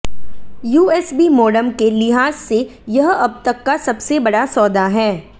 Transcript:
USB modem के लिहाज से यह अब तक का सबसे बड़ा सौदा है